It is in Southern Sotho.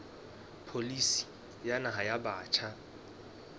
pholisi ya naha ya batjha